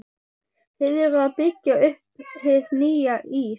Þið eruð að byggja upp hið nýja Ís